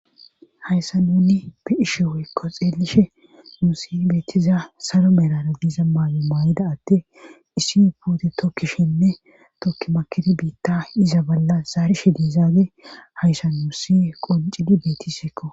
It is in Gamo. Hayssa nunni bi7ishe weykko xeelishe nuu si beettiza saro melara diiza maayi maayida atti issi puute tokkishinne tokki makidi biitta iza balla zaari shidizaade hayssa nuu si qoncidi betisikko